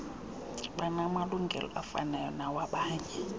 banamalungelo afanayo nawabanye